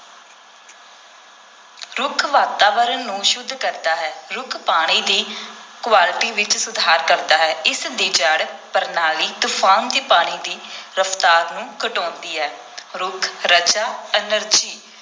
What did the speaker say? ਰੁੱਖ ਵਾਤਾਵਰਨ ਨੂੰ ਸੁੱਧ ਕਰਦਾ ਹੈ, ਰੁੱਖ ਪਾਣੀ ਦੀ quality ਵਿਚ ਸੁਧਾਰ ਕਰਦਾ ਹੈ, ਇਸ ਦੀ ਜੜ੍ਹ ਪ੍ਰਣਾਲੀ ਤੂਫਾਨ ਦੇ ਪਾਣੀ ਦੇ ਰਫਤਾਰ ਨੂੰ ਘਟਾਉਂਦੀ ਹੈ ਰੁੱਖ ਰਜਾ energy